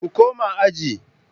Ku koma aji